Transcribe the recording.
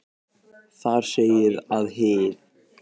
Þar segir að hið